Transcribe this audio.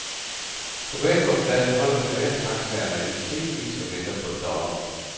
På banegårdspladsen holder privattaxaerne i stribevis og venter på dollar.